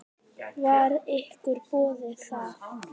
Var ykkur boðið það?